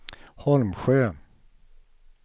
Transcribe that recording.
Holmsjö